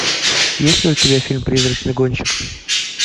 есть ли у тебя фильм призрачный гонщик